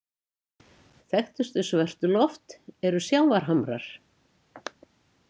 Þekktustu Svörtuloft eru sjávarhamrar.